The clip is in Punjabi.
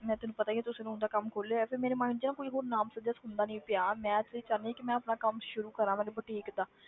ਮੈਂ ਤੈਨੂੰ ਪਤਾ ਹੀ ਆ, ਤੂੰ saloon ਦਾ ਕੰਮ ਖੋਲਿਆ ਹੈ ਤੇ ਮੇਰੇ ਮਨ 'ਚ ਨਾ ਕੋਈ ਹੋਰ ਨਾਮ ਸੁਝਿਆ ਸੁਝਦਾ ਨੀ ਪਿਆ ਮੈਂ ਅਸਲ ਵਿੱਚ ਚਾਹੁੰਦੀ ਹਾਂ ਕਿ ਮੈਂ ਆਪਣਾ ਕੰਮ ਸ਼ੁਰੂ ਕਰਾਂ ਮੇਰੇ boutique ਦਾ